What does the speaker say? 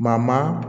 Ma